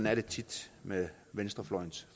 er det tit med venstrefløjens